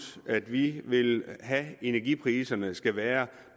at vi vil have at energipriserne skal være